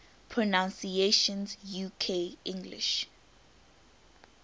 pronunciations uk english